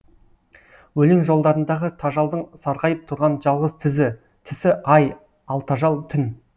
өлең жолдарындағы тажалдың сарғайып тұрған жалғыз тісі ай ал тажал түн